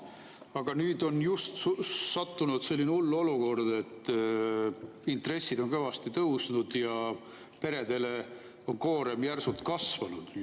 Aga nüüd on just sattunud selline hull olukord, et intressid on kõvasti tõusnud ja peredele on koorem järsult kasvanud.